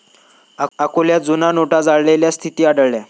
अकोल्यात जुन्या नोटा जळालेल्या स्थिती आढळल्या